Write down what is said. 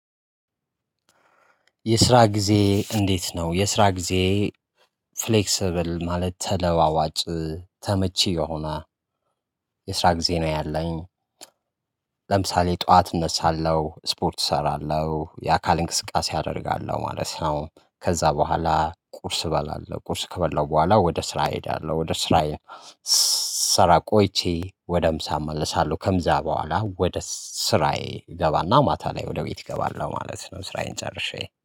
የስራ ጊዜ እንዴት ነው የስራ ጊዜ? ፍሌከሲሰብል ማለት ተለዋዋጭ ተመቺ የሆና የስራ ጊዜ ነው ያለኝ። ለምሳሌ ጠዋት እነሳለሁ ስፖርት እሰራለሁ የአካል እንቅስቃሴ አደርጋለሁ ማለት ነው። ከዛ በኋላ ቁርስ እበላለሁ ቁርስ ከበላሁ በኋላ ወደ ስራ እሄዳለሁ ወደ ስራየ። ስራ ቆይቼ ወደ ምሳ እመለሳለሁ ከምዛ በኋላ ወደ ስራዬ እገባና ማታ ላይ ወደ ቤት እገባለው ማለት ነው። ስራዬን ጨርሼ